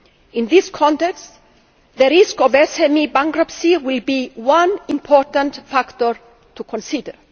In this context, the risk of SME bankruptcy will be one important factor to consider.